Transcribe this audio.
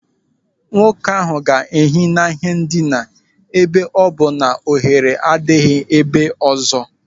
Nwoke ahụ ga-ehi n'ihe ndina ebe ọ bụ na ohere adịghị ebe ọzọ.